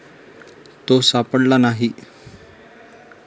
तो सापडला नाही.